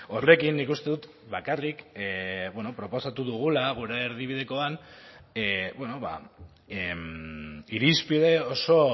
horrekin nik uste dut bakarrik proposatu dugula gure erdibidekoan irizpide oso